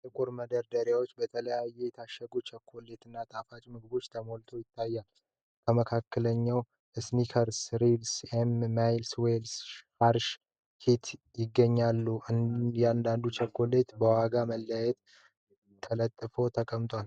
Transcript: ጥቁር መደርደሪያዎች በተለያዩ የታሸጉ ቸኮሌቶች እና ጣፋጭ ምግቦች ተሞልተው ይታያሉ። ከመካከላቸው "Snickers"፣ "Reese's"፣ "M&M's"፣ "Milky Way"፣ "Hershey's" እና "Kit Kat" ይገኛሉ። እያንዳንዱ ቸኮሌት በዋጋ መለያዎች ተለጥፎ ተቀምጧል።